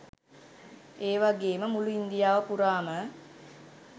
ඒවගේම මුලු ඉන්දියාව පුරාම